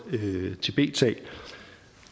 tibetsag